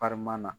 na